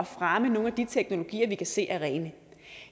fremme nogle af de teknologier vi kan se der er rene